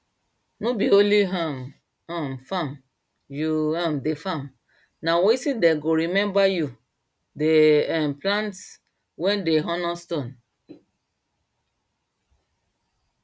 no be only um um farm u um de farm na wetin dem go remember you dey um plant when dem honor stone